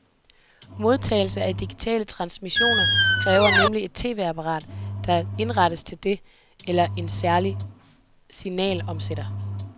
Modtagelse af digitale transmissioner kræver nemlig et tv-apparat, der er indrettet til det, eller en særlig signalomsætter.